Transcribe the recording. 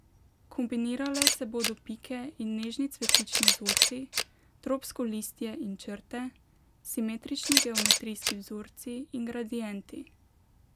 Kombinirale se bodo pike in nežni cvetlični vzorci, tropsko listje in črte, simetrični geometrijski vzorci in gradienti ...